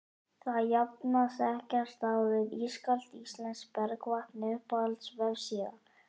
það jafnast ekkert á við ískalt íslenskt bergvatn Uppáhalds vefsíða?